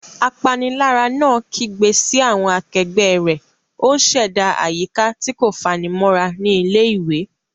Apanilára náà kígbe sí àwọn akẹgbẹ́ rẹ̀, ó ń ṣẹ̀dá àyíká tí kò fanimọ́ra ní ilé-ìwé.